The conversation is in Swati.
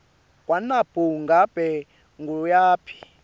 kwanobe ngabe nguwaphi